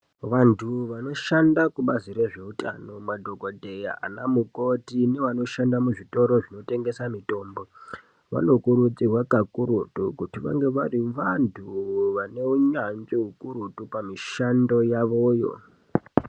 Vandu vandoshanda kubazi rezveutano madhokoteya nanamukoti nevamweni vandoshanda muzvitoro zvinotengesa mutombo vanokurudzirwa kakurutu kuti vange vari vandu vane hunyanzvi hukurutu pamushando hwavo yoo.